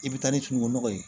I bɛ taa ni fini nɔgɔ ye